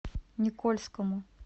никольскому